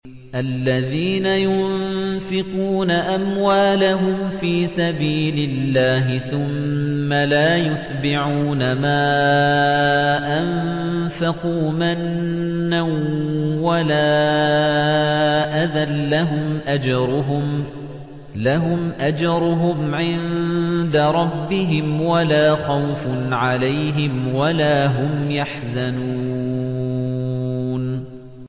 الَّذِينَ يُنفِقُونَ أَمْوَالَهُمْ فِي سَبِيلِ اللَّهِ ثُمَّ لَا يُتْبِعُونَ مَا أَنفَقُوا مَنًّا وَلَا أَذًى ۙ لَّهُمْ أَجْرُهُمْ عِندَ رَبِّهِمْ وَلَا خَوْفٌ عَلَيْهِمْ وَلَا هُمْ يَحْزَنُونَ